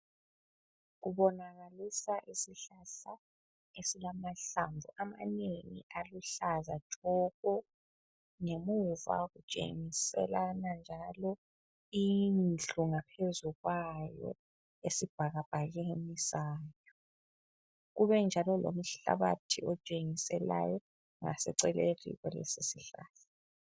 Kubonakalisa isihlahla esilamahlamvu amanengi aluhlaza tshoko. Ngemuva kutshengiselana njalo indlu ngaphezu kwayo esibhakabhakeni sayo. Kubenjalo lomhlabathi otshengiselayo ngaseceleni kwalesisihlahla.